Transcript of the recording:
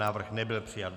Návrh nebyl přijat.